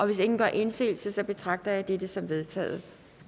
hvis ingen gør indsigelse betragter jeg dette som vedtaget